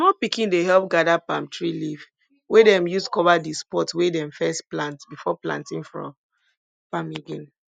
small pikin dey help gather palm tree leaf wey dem use cover di spot wey dem first plant before planting for farm again